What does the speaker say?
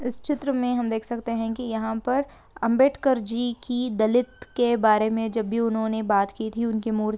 इस चित्र मे हम देख सखते है की यहाँ पर अम्बेडकर जी की दलित के बारे मे जब भी उन्होंने बात की थी उनके मूर्त --